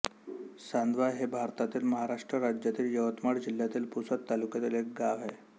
सांदवा हे भारतातील महाराष्ट्र राज्यातील यवतमाळ जिल्ह्यातील पुसद तालुक्यातील एक गाव आहे